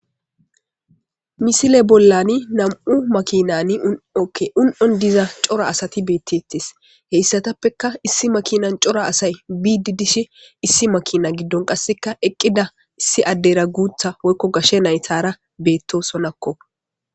Misile bollani nam'u makinani un'okke un'on diza cora asati beettettes heyssatappeka issi makinan cora asay biidi dishe issi makina giddon qasseka eqqida issi addera guutha woykko gashshe naythara beetto sonakko